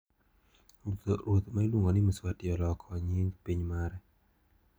Ruoth ma iluongo ni Mswati oloko nying piny mare.